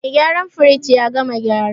Mai gyaran firij ya gama gyara.